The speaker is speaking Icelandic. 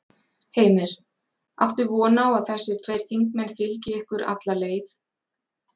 Heimir: Áttu von á að þessi tveir þingmenn fylgi ykkur alla leið?